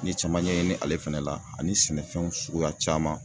N ye caman ɲɛɲini ale fɛnɛ la ani sɛnɛfɛnw suguya caman.